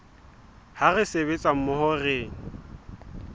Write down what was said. ha re sebetsa mmoho re